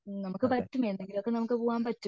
മ് നമുക്ക് പറ്റും എന്നെലോക്കെ നമുക്ക് പറ്റും